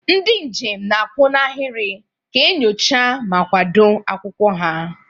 Ndị njem na-akwụ n'ahịrị ka enyocha ma kwado akwụkwọ ha.